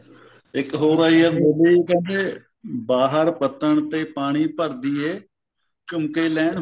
ਇੱਕ ਹੋਰ ਆਈ ਐ movie ਕਿਉਂਕਿ ਬਾਹਰ ਪੱਤਨ ਤੇ ਪਾਣੀ ਭਰਦੀ ਹੈ ਝੁੰਮਕੇ ਲੈਣ